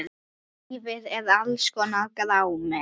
Lífið er alls konar grámi.